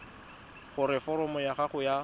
gore foromo ya gago ya